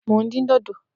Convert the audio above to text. Plantain ni mo n din-din